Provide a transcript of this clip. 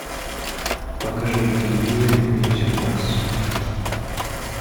покажи на телевизоре мьюзик бокс